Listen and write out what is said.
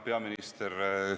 Peaminister!